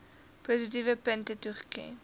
positiewe punte toeken